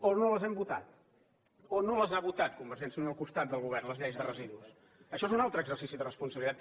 o no les hem votat o no les ha votat convergència i unió al costat del govern les lleis de residus això és un altre exercici de responsabilitat